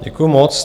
Děkuji moc.